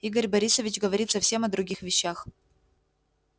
игорь борисович говорит совсем о других вещах